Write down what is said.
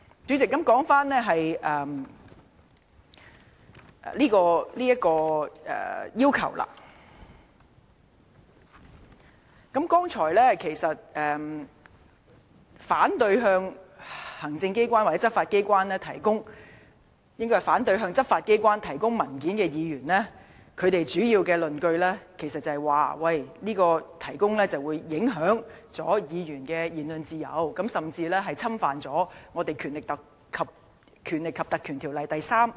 主席，關於今次的請求。剛才發言反對向執法機關提供文件的議員，主要的論據是給予特別許可將會影響議員的言論自由，甚至違反《條例》第3條及第4條的規定。